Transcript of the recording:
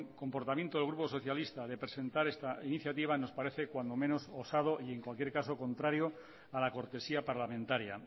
comportamiento del grupo socialista de presentar esta iniciativa nos parece cuando menos osado y en cualquier caso contrario a la cortesía parlamentaria